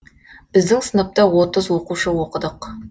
біздің сыныпта отыз оқушы оқыдық